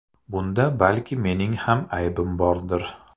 Bunda balki mening ham aybim bordir.